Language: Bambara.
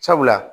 Sabula